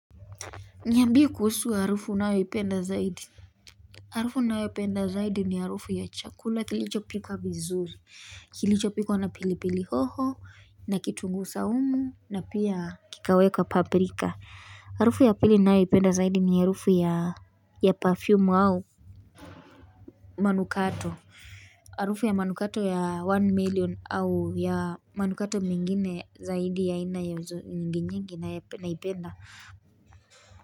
Niambie kuhusu harufu unayoipenda zaidi. Harufu ninayopenda zaidi ni harufu ya chakula kilichopika vizuri Kilicho pikwa na pili pili hoho na kitungu saumu na pia kikawekwa pabrika Harufu ya pili ninayoipenda zaidi ni harufu ya ya perfume au manukato. Harufu ya manukato ya one million au ya manukato mengine zaidi ya aina ya nyinginyingi naipenda.